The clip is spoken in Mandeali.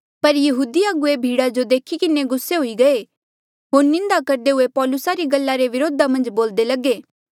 पर यहूदी अगुवे भीड़ा जो देखी किन्हें गुस्से हुई गये होर निंदा करदे हुए पौलुसा री गल्ला रे वरोधा मन्झ बोलदे लगे